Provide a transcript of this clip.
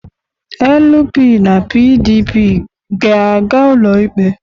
LP na PDP ga-aga ụlọikpe?